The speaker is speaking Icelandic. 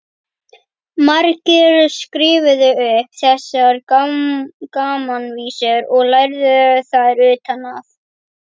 Margir skrifuðu upp þessar gamanvísur og lærðu þær utan að.